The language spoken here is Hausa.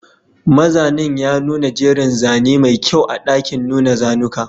Mazanin ya nuna jerin zane mai kyau a ɗakin nuna zanuka